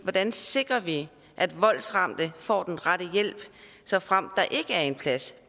hvordan sikrer vi at voldsramte får den rette hjælp såfremt der ikke er en plads